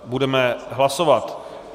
Budeme hlasovat.